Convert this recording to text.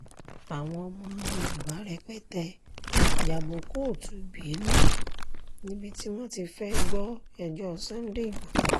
àwọn ọmọ yorùbá rẹpẹtẹ ya bo kóòtù benin níbi tí wọ́n ti fẹ́ẹ́ gbọ́ ẹjọ́ sunday igbodò